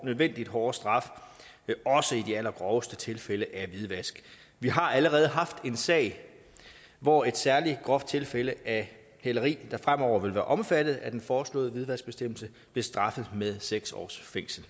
nødvendige hårde straf også i de allergroveste tilfælde af hvidvask vi har allerede haft en sag hvor et særlig groft tilfælde af hæleri der fremover vil være omfattet af den foreslåede hvidvaskbestemmelse blev straffet med seks års fængsel